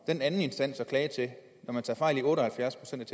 den anden instans at klage til når man tager fejl i otte og halvfjerds procent